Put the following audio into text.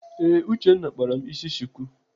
Ee, Uchenna kpara m isi chuku.